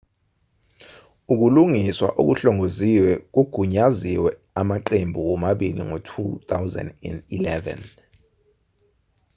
ukulungiswa okuhlongoziwe kugunyaziwe amaqembu womabili ngo-2011